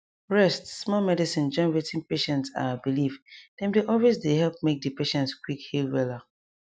rest smallmedicine join wetin patient ahhh believe dem dey always dey help make di patient quick heal wella